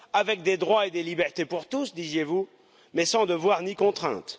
Avec des droits et des libertés pour tous, disiez vous, mais sans devoirs ni contraintes.